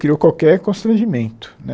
Criou qualquer constrangimento, né?